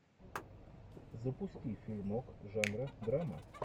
запусти фильмок жанра драма